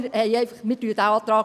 Wir unterstützen diesen Antrag.